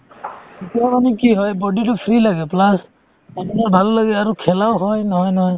তেতিয়া মানে কি হয় body তো free লাগে plus আপোনাৰ ভাল লাগে আৰু খেলাও হয়